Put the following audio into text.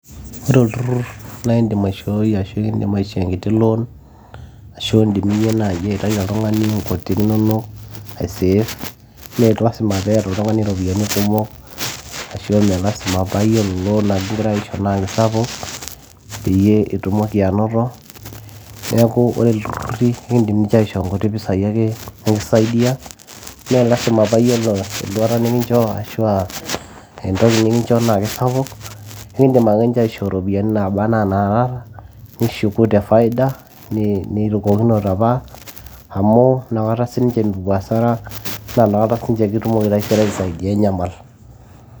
ore olturrur naindim aishoi ashu ekindim aisho enkiti loan ashu indim iyie naji aitai oltung'ani nkuti inonok aiseef melasima peeta oltung'ani iropiyiani kumok ashu meelasima paa yiolo loan nikingirae aisho naa kisapuk peyie itumoki anoto neeku ore ilturruri ekindim ninche aishoo nkuti pisai ake nikisaidia meelasima paayiolo enduata nikincho ashua entoki nikinchoo naa kisapuk ekindim ake ninche aishoo iropiyiani naba anaa naata nishuku te faida nirukokinote apa amu inakata sininche mepuo asara naa nakata kitumoki ai sininche taisere aisaidia inyamal.